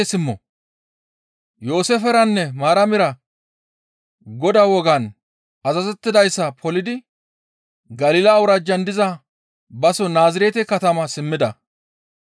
Yooseeferanne Maaramira Godaa wogaan azazettidayssa polidi Galila awuraajjan diza baso Naazirete katama simmida.